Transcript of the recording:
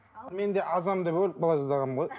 мен де азамын деп өліп қала жаздағанмын ғой